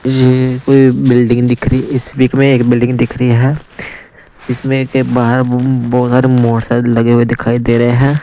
ये कोई बिल्डिंग दिख रही इस पिक में एक बिल्डिंग दिख रही है इसमें एक बाहर बहुत सारे मोटरसाइकिल लगे हुए दिखाई दे रहे हैं।